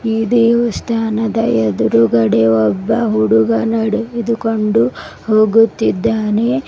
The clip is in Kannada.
ದೇವಸ್ಥಾನದ ಎದುರುಗಡೆ ಒಬ್ಬ ಹುಡುಗ ನಡೆದುಕೊಂಡು ಹೋಗುತ್ತಿದ್ದಾನೆ.